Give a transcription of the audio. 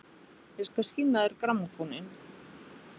Ég skal sýna þér grammófóninn!